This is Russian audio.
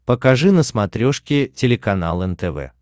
покажи на смотрешке телеканал нтв